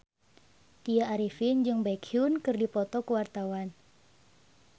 Tya Arifin jeung Baekhyun keur dipoto ku wartawan